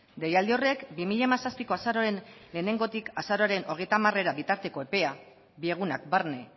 deialdi horrek bi mila hamazazpiko azaroaren lehenengotik azaroaren hogeita hamarera bitarteko epea bi egunak barne